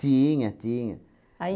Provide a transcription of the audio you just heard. Tinha, tinha. Aí